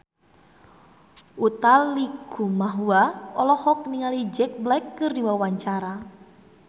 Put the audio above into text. Utha Likumahua olohok ningali Jack Black keur diwawancara